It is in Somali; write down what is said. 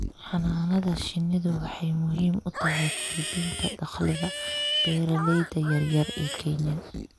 Xannaanada shinnidu waxay muhiim u tahay kordhinta dakhliga beeralayda yar yar ee Kenya.